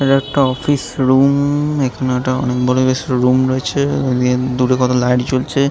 ইটা একটা office room ম ম ম এখানে একটা অনেক বড়ো বেশ রুম রয়েছে দুটো কটা লাইট জ্বলছে ।